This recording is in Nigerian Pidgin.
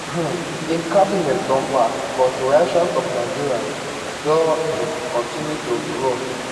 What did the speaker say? um im cabinet don pass but reactions of nigerians don um kontinu to grow